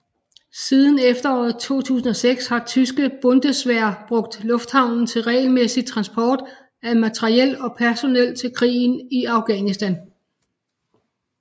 Siden efteråret 2006 har tyske Bundeswehr brugt lufthavnen til regelmæssig transport af materiel og personel til krigen i Afghanistan